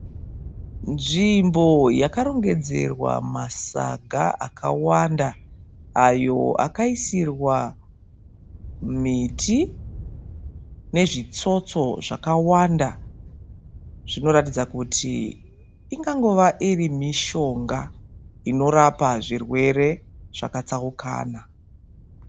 Nzvimbo yakarongedzerwa masaga akawanda ayo akaisirwa miti nezvitsotso zvakawanda, zvinoratidza kuti ingangove mishonga inorapa zvirwere zvakatsaukana.